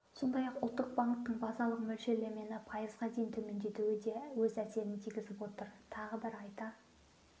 сондай-ақ ұлттық банктің базалық мөлшерлемені пайызға дейін төмендетуі де өз әсерін тигізіп отыр тағы бір айта